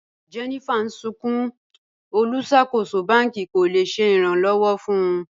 Jennifer n sùnkún, olúṣakòsò bàn̄kì kò le ṣẹ̀ ìràn-lọ́wọ̀ fún wọ̀.